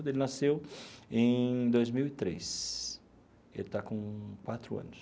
Ele nasceu em dois mil e três, ele está com quatro anos.